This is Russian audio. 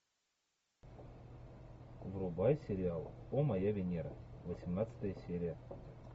врубай сериал о моя венера восемнадцатая серия